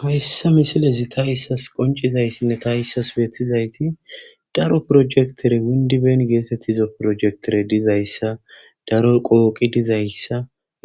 hayssa misilezi ta issas qoncizaysinne ta issas beeththizayti daro projektere windiben geetettizo projektere dizayssa daro qooqi dizayssa